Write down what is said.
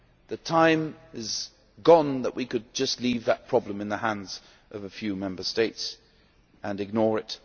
The time is gone that we could just leave that problem in the hands of a few Member States and ignore it.